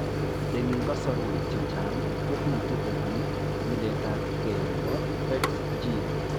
Eng' lkasarwek chechang kobitu kobun nyiletaabge nebo PHEX gene